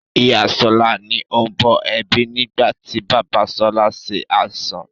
Ìyá sọlá ni ó ń bọ̀ ẹbí nigbati bàbá sọlá ṣe àìsàn